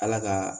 Ala ka